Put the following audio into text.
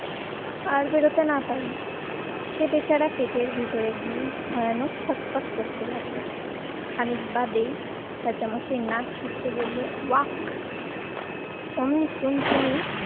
আর বেরোতে না পারে। সে বেচারা পেটের ভিতরে গিয়ে ভয়ানক ছটফট করতে লাগলো। খানিক বাদেই রাজামশাই নাচ শিখতে বললো ওয়াক অমনি টুনটুনি